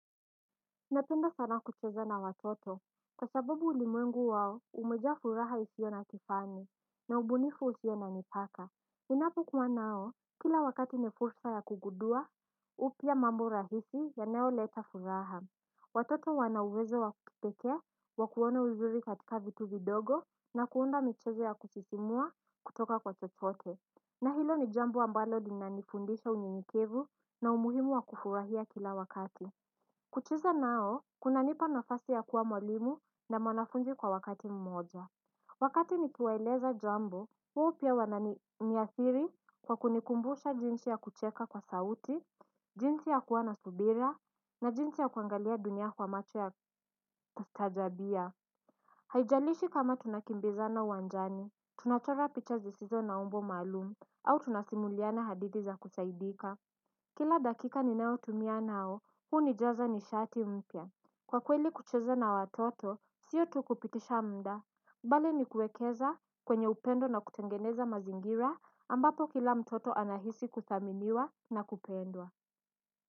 Napenda sana kucheza na watoto. Kwa sababu ulimwengu wao umejaa furaha isio na kifani. Na umbunifu usiona mipaka ninapo kuwaa nao kila wakati nefursa ya kugudua upya mambo rahisi yanayo leta furaha. Watoto wanawezo wa kukipekee wa kuona uzuri katika vitu vidogo na kuunda michezo ya kusisimua kutoka kwa chotote. Na hilo ni jambo ambalo linanifundisha unyenyekevu na umuhimu wa kufurahia kila wakati. Kucheza nao, kuna nipa nafasi ya kuwa mwalimu na mwanafunzi kwa wakati mmoja. Wakati nikiwaeleza jambo, wao pia wanani niathiri kwa kunikumbusha jinsi ya kucheka kwa sauti, jinsi ya kuwa na subira, na jinsi ya kuangalia dunia kwa macho ya tajabia. Haijalishi kama tunakimbizana wanjani, tunachora pichazi sizo na umbo malum, au tunasimuliana hadithi za kusaidika. Kila dakika ninaotumia nao, huunijaza nishati mpya. Kwa kweli kucheze na watoto, sio tukupitisha mda. Pale ni kuekeza kwenye upendo na kutengeneza mazingira ambapo kila mtoto anahisi kuthaminiwa na kupendwa.